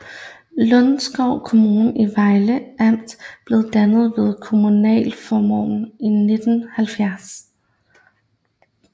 Lunderskov Kommune i Vejle Amt blev dannet ved kommunalreformen i 1970